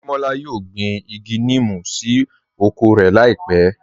Adémọlá yóò gbín igi nímú sí oko rẹ láípẹ̀